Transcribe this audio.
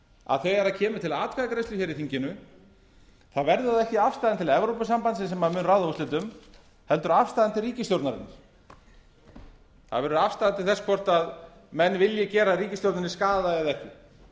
að þegar kemur til atkvæðagreiðslu í þinginu verður það ekki afstaðan til evrópusambandsins sem mun ráða úrslitum heldur afstaðan til ríkisstjórnarinnar það verður afstaða til þess hvort menn vilji gera ríkisstjórninni skaða eða ekki